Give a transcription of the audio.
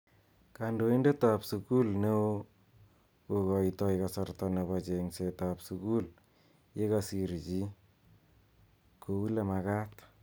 Kandoindet ab sukul neo kokoitoi kasarta nebo chngset ab sukul yekasir chi kouolemakat.